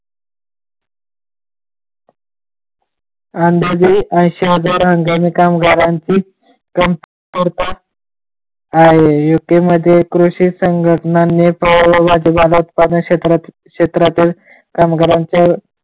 अंदाजे ऐंशी हजार हंगामी कामगारांची कमतरता आहे यु के मध्ये कृषी संघटनांनी क्षेत्रातील कामगारांची .